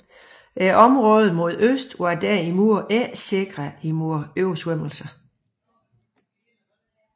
Området mod øst var derimod ikke sikret mod oversvømmelser